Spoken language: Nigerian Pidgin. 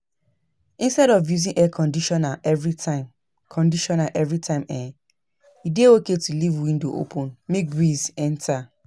Instead of using Air Conditioner every time Conditioner every time um e dey okay to leave window open make breeze enter